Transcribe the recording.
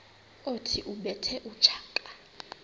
othi ubethe utshaka